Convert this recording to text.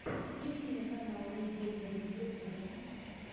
включи мне канал видео бэби в ютюбе